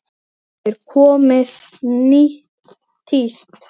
Er komið nýtt tíst?